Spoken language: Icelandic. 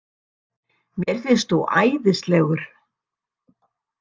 Mér finnst þú æðislegur.